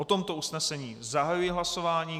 O tomto usnesení zahajuji hlasování.